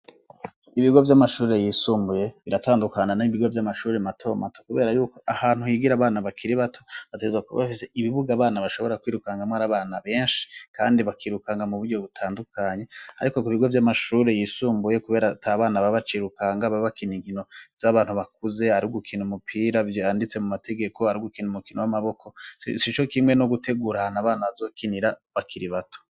Ibigo vy'amashure yisumbuye biratandukana n'ibigo vy'amashuri mato mato, kubera yuko ahantu higira bana bakiri bato bateza kuba bafise ibibuga bana bashobora kwirukangamwo ari abana benshi, kandi bakirukanga mu buryo butandukanya, ariko ku ibigo vy'amashure yisumbuye, kubera ta bana babacirukanga babakina ingino z'abantu bakuze hari ugukina umupiravyo yanditse mu mategeko haragukina umukino w'amaboko si co kimwe no gutegura ahana abana bazokinira bakiri bato.